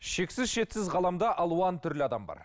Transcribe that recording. шексіз шетсіз ғаламда алуан түрлі адам бар